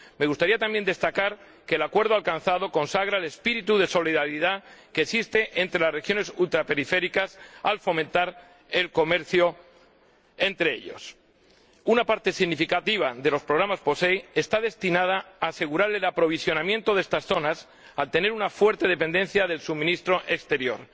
Me gustaría, también, destacar que el acuerdo alcanzado consagra el espíritu de solidaridad que existe entre las regiones ultraperiféricas al fomentar el comercio entre ellas. Una parte significativa de los programas POSEI está destinada a asegurar el aprovisionamiento de estas zonas, caracterizadas por una fuerte dependencia del suministro exterior.